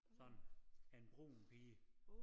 Sådan en brun pige